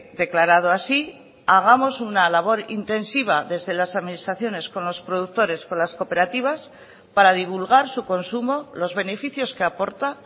declarado así hagamos una labor intensiva desde las administraciones con los productores con las cooperativas para divulgar su consumo los beneficios que aporta